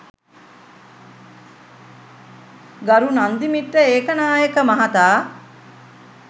ගරු නන්දිමිත ඒකනායක මහතා